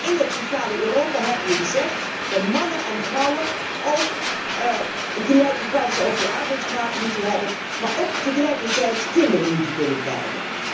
In dat sociale Europa hebben we gezegd dat mannen en vrouwen ook gelijke kansen op de arbeidsmarkt moeten hebben, en tegelijkertijd kinderen moeten kunnen krijgen.